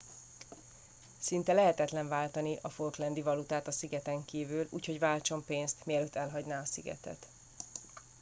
szinte lehetetlen váltani a falklandi valutát a szigeteken kívül úgyhogy váltson pénzt mielőtt elhagyná a szigetet